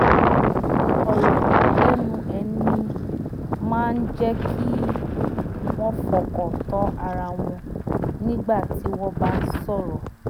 ọ̀rọ̀ lẹ́nu ẹni máa ń jẹ́ kí wọ́n fọkàn tán ara wọn nígbà tí wọ́n bá ń sọ̀rọ̀